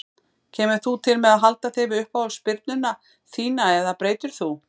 Kemur þú til með að halda þig við uppáhalds spyrnuna þína eða breytir þú?